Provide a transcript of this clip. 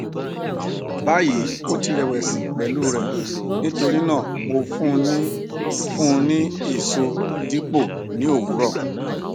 bayi o ti rẹwẹsi pẹlu rẹ nitorinaa mo fun u ni fun u ni eso dipo ni owurọ